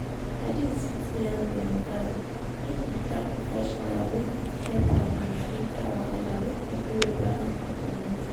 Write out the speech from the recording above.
padis fit yan dem guy make he track professional wey fit help am with mental wahala make everywhere balance for dem mental health